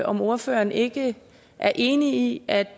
om ordføreren ikke er enig i at